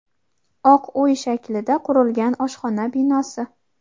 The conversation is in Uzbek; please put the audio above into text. oq uy shaklida qurilgan oshxona binosi.